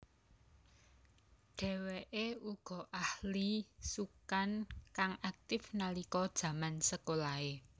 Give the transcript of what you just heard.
Dheweke uga ahli sukan kang aktif nalika jaman sekolahe